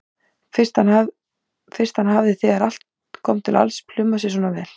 Fyrst hann hafði þegar allt kom til alls plumað sig svona vel.